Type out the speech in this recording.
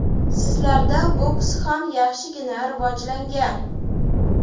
Sizlarda boks ham yaxshigina rivojlangan.